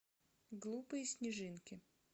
глупые снежинки